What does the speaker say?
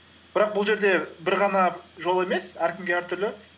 бірақ бұл жерде бір ғана жол емес әркімге әртүрлі